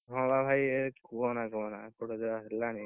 ହଁ, ବା ଭାଇ ଇଏ କୁହନା କୁହନା ଏପଟେ ଯାହା ହେଲାଣି,